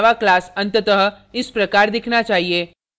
आपका java class अंततः इस प्रकार दिखना चाहिए